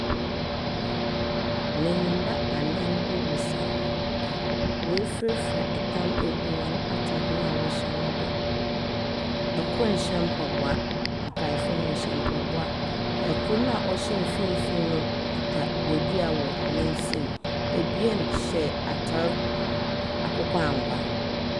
Mennyim a anan bi resaw. Woe frafra ɛtam egu wɔn ataade no do. Ɛkor nhyɛ mpɔboa, nkaefo no wɔ hyɛ mpɔboa. Ɛkor na ɔhyɛ nfinfi no kita bodur wɔ n'nsam. Ebien hyɛ atar akokɔ angua.